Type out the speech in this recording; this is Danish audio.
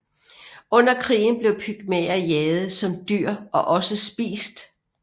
Under krigen blev pygmæer jaget som dyr og også spist